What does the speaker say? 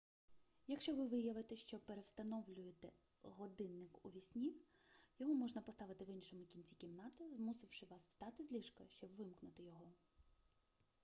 якщо ви виявите що перевстановлюєте годинник уві сні його можна поставити в іншому кінці кімнати змусивши вас встати з ліжка щоб вимкнути його